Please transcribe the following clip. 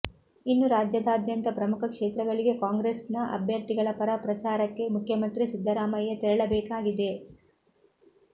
ಇನ್ನು ರಾಜ್ಯದಾದ್ಯಂತ ಪ್ರಮುಖ ಕ್ಷೇತ್ರಗಳಿಗೆ ಕಾಂಗ್ರೆಸ್ ನ ಅಭ್ಯರ್ಥಿಗಳ ಪರ ಪ್ರಚಾರಕ್ಕೆ ಮುಖ್ಯಮಂತ್ರಿ ಸಿದ್ದರಾಮಯ್ಯ ತೆರಳಬೇಕಾಗಿದೆ